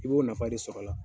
I b'o nafa de sɔr'a la.